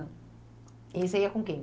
E você ia com quem?